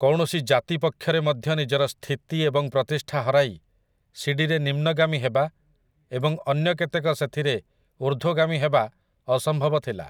କୌଣସି ଜାତି ପକ୍ଷରେ ମଧ୍ୟ ନିଜର ସ୍ଥିତି ଏବଂ ପ୍ରତିଷ୍ଠା ହରାଇ ସିଡ଼ିରେ ନିମ୍ନଗାମୀ ହେବା ଏବଂ ଅନ୍ୟ କେତେକ ସେଥିରେ ଉର୍ଦ୍ଧ୍ୱଗାମୀ ହେବା ଅସମ୍ଭବ ଥିଲା ।